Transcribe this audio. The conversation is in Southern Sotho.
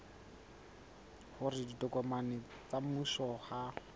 hore ditokomane tsa mmuso ha